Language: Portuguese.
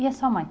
E a sua mãe?